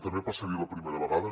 també passaria la primera vegada